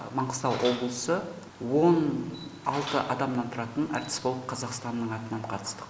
маңғыстау облысы он алты адамнан тұратын әртіс болып қазақстанның атынан қатыстық